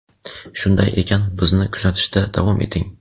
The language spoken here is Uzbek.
Shunday ekan, bizni kuzatishda davom eting!.